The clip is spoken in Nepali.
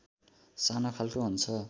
सानो खालको हुन्छ